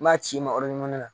N b'a ci ma yɔrɔ de la